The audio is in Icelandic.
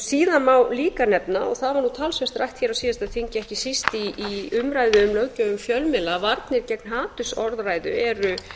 síðan má líka nefna og það var talsvert rætt hér á síðasta þingi ekki síst í umræðu um löggjöf um fjölmiðla varnir gegn hatursorðræðu eru